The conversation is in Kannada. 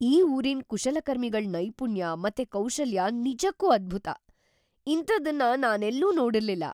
ಈ ಊರಿನ್ ಕುಶಲಕರ್ಮಿಗಳ್ ನೈಪುಣ್ಯ ಮತ್ತೆ ಕೌಶಲ್ಯ ನಿಜಕ್ಕೂ ಅದ್ಭುತ! ಇಂಥದನ್ನ ನಾನೆಲ್ಲೂ ನೋಡಿರ್ಲಿಲ್ಲ.